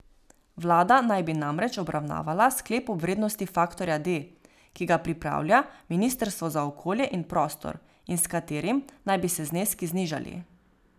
Vlada naj bi namreč obravnavala sklep o vrednosti faktorja D, ki ga pripravlja ministrstvo za okolje in prostor in s katerim naj bi se zneski znižali.